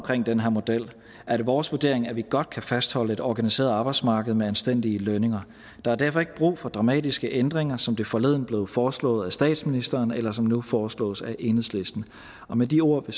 den her model er det vores vurdering at vi godt kan fastholde et organiseret arbejdsmarked med anstændige lønninger og der er derfor ikke brug for dramatiske ændringer som det forleden blev foreslået af statsministeren eller som det nu foreslås af enhedslisten med de ord vil